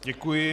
Děkuji.